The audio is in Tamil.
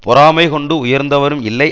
பொறாமை கொண்டு உயர்ந்தவரும் இல்லை